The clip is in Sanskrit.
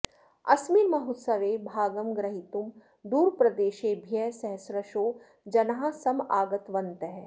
अस्मिन् महोत्स्वे भागं ग्रहीतुं दूरप्रदेशेभ्यः सहस्रशो जनाः समागतवन्तः